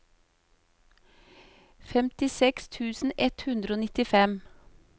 femtiseks tusen ett hundre og nittifem